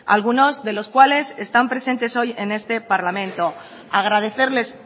algunos de los cuales están presentes hoy en este parlamento agradecerles